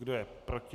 Kdo je proti?